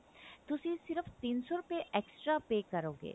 ਤੁਸੀਂ ਸਿਰਫ ਤਿੰਨ ਸੋ ਰੁਪਏ extra pay ਕਰੋਗੇ